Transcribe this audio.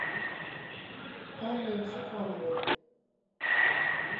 анной цукановой